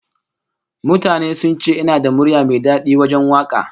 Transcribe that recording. Mutane sun ce ina da murya mai dadi wajen waka